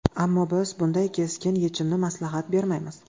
Ammo, biz bunday keskin yechimni maslahat bermaymiz.